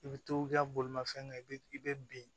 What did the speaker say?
I bɛ to i ka bolimafɛn kɛ i bɛ i bɛ bin